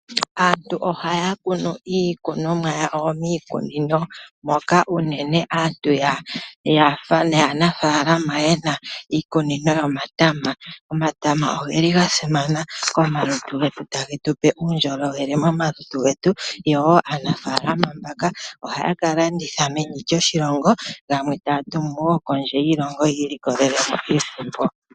Aantu ohaya kunu iikunomwa yawo miikunino moka unene aantu yaanafalama yena iikunino yomatama. Omatama ogeli ga simana komalutu getu, tage tupe uundjolowele momalutu getu yo woo aanafalama mbaka ohaya ka landitha meni lyoshilongo gamwe taya tumu wo kondje yoshilongo ya ilikolele mo iisimpo.